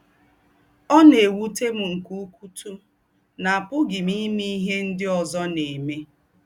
“Ọ̀ nà-èwùté m nké úkútù nà àpùghí m ímè íhé ndí́ ózọ́ nà-èmè.